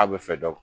A bɛ fɛ dɔ